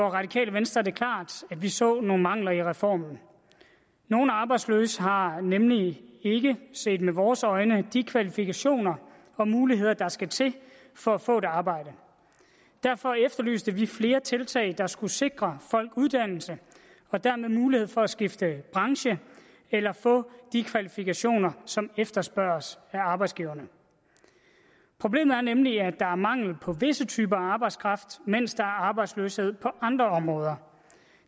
radikale venstre det klart at vi så nogle mangler i reformen nogle arbejdsløse har nemlig ikke set med vores øjne de kvalifikationer og muligheder der skal til for at få et arbejde derfor efterlyste vi flere tiltag der skulle sikre folk uddannelse og dermed mulighed for at skifte branche eller få de kvalifikationer som efterspørges af arbejdsgiverne problemet er nemlig at der er mangel på visse typer af arbejdskraft mens der er arbejdsløshed på andre områder